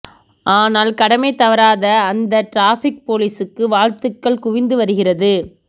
ஆனால் கடமை தவறாத அந்த டிராபிக் போலீசுக்கு வாழ்த்துக்கள் குவிந்து வருகிறது